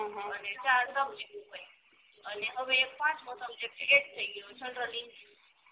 અને ચાર સબસ્ટીટ્યુડ હોય અને હવે પાંચમો સબજેક્ટ એડ થઈ ગયો એટલે છ થઈ ગયા